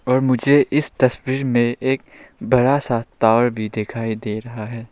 और मुझे इस तस्वीर में एक बड़ा सा तार भी दिखाई दे रहा है।